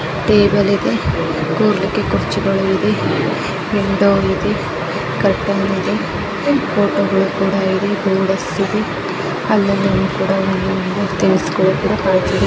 Table ಇದೆ ಕೂರೋಕೆ ಕುರ್ಚಿಗಳು ಇದೆ ವಿಂಡೋ ಇದೆ ಕರ್ಟೆಯಿನ್ ಇದೆ ಫೋಟೋಗಳು ಕೂಡ ಇದೆ ಗುಂಬಸ್ ಇದೆ ಅಲ್ಲಲ್ಲಿ ಒಂದ್ ಕೂಡ ತಿನಿಸುಗಳು ಕೂಡ ಕಾಣ್ತಿದೇ.